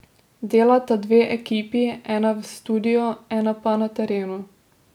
Delata dve ekipi, ena v studiu, ena pa na terenu.